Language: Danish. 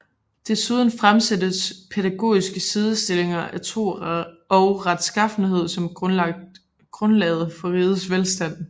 Desuden fremsættes pædagogiske sidestillinger af tro og retsskaffenhed som grundlaget for rigets velstand